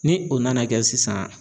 Ni o nana kɛ sisan